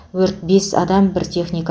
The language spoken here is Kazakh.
өрт бес адам бір техника